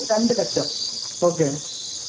രണ്ടു ലക്ഷം ഓകെ